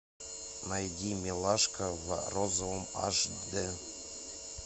найди милашка в розовом аш д